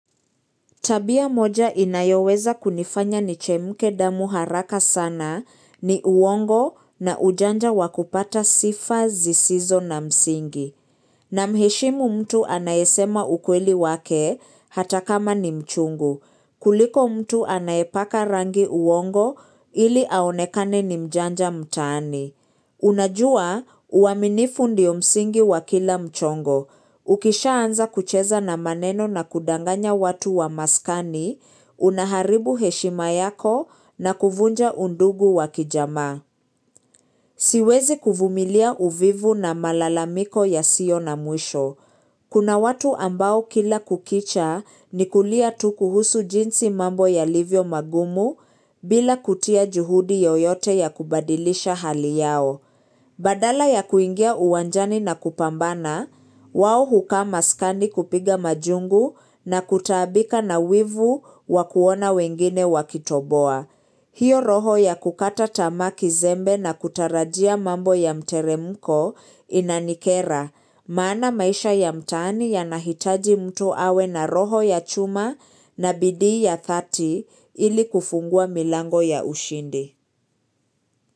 Tabia moja inayoweza kunifanya ni chemke damu haraka sana ni uongo na ujanja wakupata sifa zisizo na msingi. Na mheshimu mtu anayesema ukweli wake hata kama ni mchungu. Kuliko mtu anayepaka rangi uongo ili aonekane ni mjanja mtaani. Unajua uaminifu ndio msingi wa kila mchongo. Ukishaanza kucheza na maneno na kudanganya watu wa maskani, unaharibu heshima yako na kuvunja undugu wakijamaa. Siwezi kuvumilia uvivu na malalamiko ya sio na mwisho. Kuna watu ambao kila kukicha ni kulia tu kuhusu jinsi mambo yalivyo magumu bila kutia juhudi yoyote ya kubadilisha hali yao. Badala ya kuingia uwanjani na kupambana, wao hukaa maskani kupiga majungu na kutaabika na wivu wa kuona wengine wakitoboa. Hiyo roho ya kukata tamaa kizembe na kutarajia mambo ya mteremuko inanikera. Maana maisha ya mtaani yanahitaji mtu awe na roho ya chuma na bidii ya thati ili kufungua milango ya ushindi.